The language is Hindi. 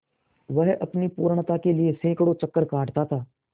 वह अपनी पूर्णता के लिए सैंकड़ों चक्कर काटता था